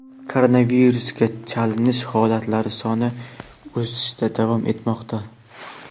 koronavirusga chalinish holatlari soni o‘sishda davom etmoqda.